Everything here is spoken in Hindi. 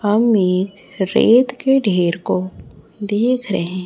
हम एक रेत के ढेर को देख रहे--